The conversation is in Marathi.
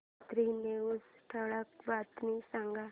रात्री नऊच्या ठळक बातम्या सांग